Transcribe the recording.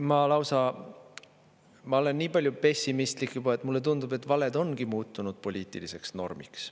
Ma lausa olen nii palju pessimistlik juba, et mulle tundub, et valed ongi muutunud poliitiliseks normiks.